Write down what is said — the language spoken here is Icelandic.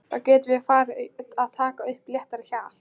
Þá getum við farið að taka upp léttara hjal!